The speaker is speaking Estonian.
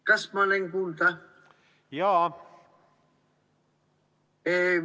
Kas ma olen kuulda?